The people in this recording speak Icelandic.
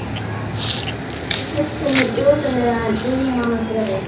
Og ekkert get ég hugsað mér ömurlegra en einmana draug.